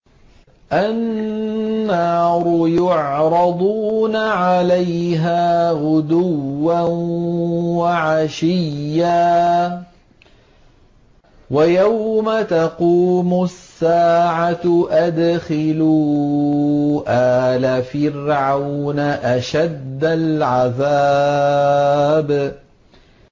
النَّارُ يُعْرَضُونَ عَلَيْهَا غُدُوًّا وَعَشِيًّا ۖ وَيَوْمَ تَقُومُ السَّاعَةُ أَدْخِلُوا آلَ فِرْعَوْنَ أَشَدَّ الْعَذَابِ